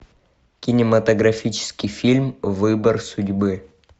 кинематографический фильм выбор судьбы